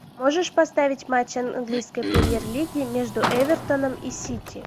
можешь поставить матч английской премьер лиги между эвертоном и сити